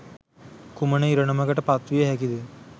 කුමන ඉරණමකට පත්විය හැකිද?